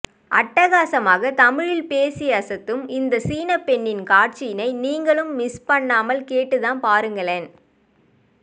அட்டகாசமாக தமிழில் பேசி அசத்தும் இந்த சீனப்பெண்ணின் காட்சியினை நீங்களும் மிஸ் பண்ணாமல் கேட்டுத்தான் பாருங்களேன்